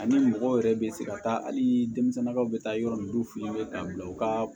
Ani mɔgɔw yɛrɛ bɛ se ka taa hali denmisɛnnin ka u bɛ taa yɔrɔ min f'u ye ka bila u ka